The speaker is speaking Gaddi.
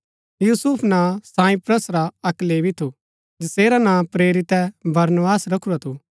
यूसुफ नां साइप्रस रा अक्क लेवी थू जैसेरा नां प्रेरितै बरनबास रखुरा थू